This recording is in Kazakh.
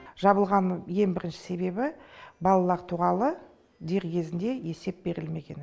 жабылғанның ең бірінші себебі балалар туралы дер кезінде есеп берілмеген